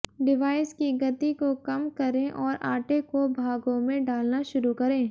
device की गति को कम करें और आटे को भागों में डालना शुरू करें